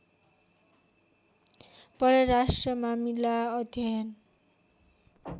परराष्ट्र मामिला अध्ययन